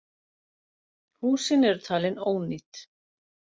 Húsin eru talin ónýt